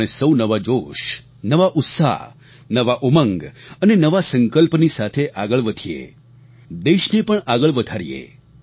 આપણે સૌ નવા જોશ નવા ઉત્સાહ નવા ઉમંગ અને નવા સંકલ્પની સાથે આગળ વધીએ દેશને પણ આગળ વધારીએ